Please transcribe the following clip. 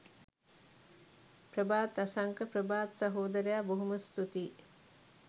ප්‍රභාත් අසංක ප්‍රභාත් සහෝදරයා බොහොම ස්තුතියි